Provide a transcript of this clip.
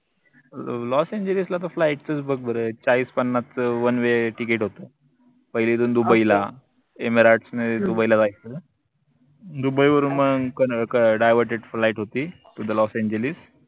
loss एंजिल्सला त flight चच बघ बर चाळीस, पन्नासच onewayticket होत पहिले इथून दुबईला एमिरेट्सनी दुबईला जायचं दुबई वरून मंग divertedflight होती tothe लॉस एंजिल्स